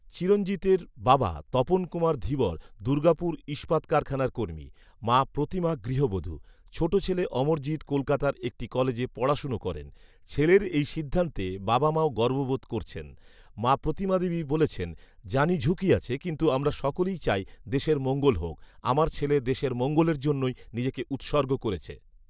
চিরঞ্জিতের বাবা তপনকুমার ধীবর দুর্গাপুর ইস্পাত কারখানার কর্মী৷ মা প্রতিমা গৃহবধূ৷ ছোট ছেলে অমরজিৎ কলকাতার একটি কলেজে পড়াশোন করেন৷ ছেলের এই সিদ্ধান্তে বাবা মাও গর্ব বোধ করছেন৷ মা প্রতিমাদেবী বলেছেন, ‘জানি ঝুঁকি আছে৷ কিন্তু আমরা সকলেই চাই দেশের মঙ্গল হোক৷ আমার ছেলে দেশের মঙ্গলের জন্যই নিজেকে উৎসর্গ করেছে৷’